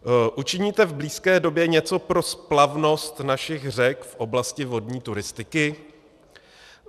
Učiníte v blízké době něco pro splavnost našich řek v oblasti vodní turistiky?